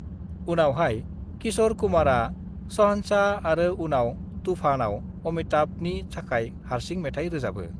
"उनावहाय, किशर कुमारा शहंशाह आरो उनाव तूफ़ानआव अमिताभनि थाखाय हारसिं मेथाइ रोजाबो।"